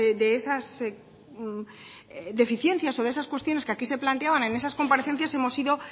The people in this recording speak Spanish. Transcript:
de esas deficiencias o de esas cuestiones que aquí se planteaban en esas comparecencias hemos ido